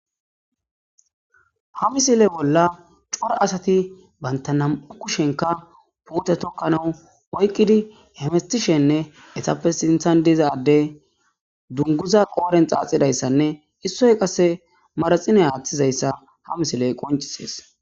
ha misile bolla cora asati bantanam7u kushenka puute tokkanau oykqidi hemestishenne esappe sinthan dizade dunguza qooren xaaxidayssanne issoy qasse maraxine haaththizayssa ha misiley qoncisees